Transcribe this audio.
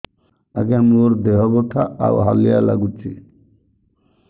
ଆଜ୍ଞା ମୋର ଦେହ ବଥା ଆଉ ହାଲିଆ ଲାଗୁଚି